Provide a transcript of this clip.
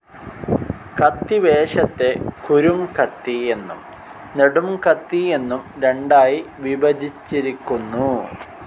കത്തിവേഷത്തെ കുരുംകത്തി എന്നും നെടും കത്തി എന്നും രണ്ടായിവിഭജിച്ചിരിക്കുന്നു.